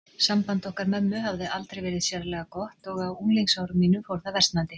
Samband okkar mömmu hafði aldrei verið sérlega gott og á unglingsárum mínum fór það versnandi.